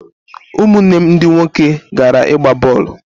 Ụmụnne m ndị nwoke gara ịgba bọọlụ.